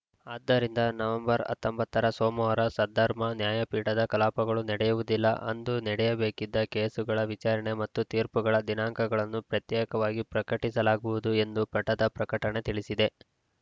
ಆದ್ದರಿಂದ ನವೆಂಬರ್ ಹತ್ತೊಂಬತ್ತರ ಸೋಮವಾರ ಸದ್ಧರ್ಮ ನ್ಯಾಯಪೀಠದ ಕಲಾಪಗಳು ನಡೆಯುವುದಿಲ್ಲ ಅಂದು ನಡೆಯಬೇಕಾಗಿದ್ದ ಕೇಸುಗಳ ವಿಚಾರಣೆ ಮತ್ತು ತೀರ್ಪುಗಳ ದಿನಾಂಕಗಳನ್ನು ಪ್ರತ್ಯೇಕವಾಗಿ ಪ್ರಕಟಿಸಲಾಗುವುದು ಎಂದು ಪಠದ ಪ್ರಕಟಣೆ ತಿಳಿಸಿದೆ